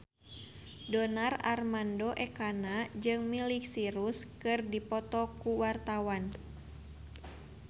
Donar Armando Ekana jeung Miley Cyrus keur dipoto ku wartawan